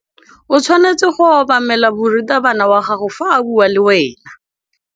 O tshwanetse go obamela morutabana wa gago fa a bua le wena.